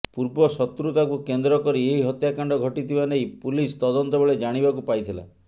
ପୂର୍ବ ଶତ୍ରୁତାକୁ କେନ୍ଦ୍ର କରି ଏହି ହତ୍ୟାକାଣ୍ଡ ଘଟିଥିବା ନେଇ ପୁଲିସ ତଦନ୍ତ ବେଳେ ଜାଣିବାକୁ ପାଇଥିଲା